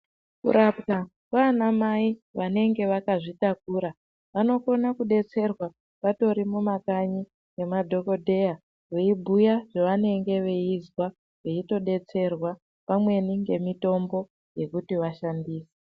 Kurapwa kwana mai vanenge vakazvitakura vanokona kudetserwa vatori mumakanyi ngemadhokoteya veibhuya zvavanenge veinzwa votodetserwa pamweni ngemitombo yekuti vashandise